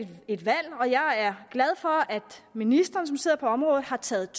et valg og jeg er glad for at ministeren som sidder på området har taget